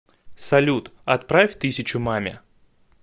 салют отправь тысячу маме